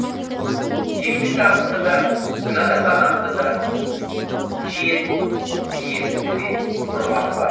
еңбекақыңды да жатақханаңды да жиен пиеніңді де ұрғаным бар